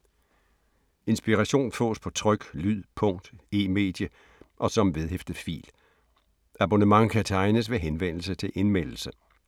Inspiration fås på tryk, lyd, punkt, e-medie og som vedhæftet fil. Abonnement kan tegnes ved henvendelse til Indmeldelse.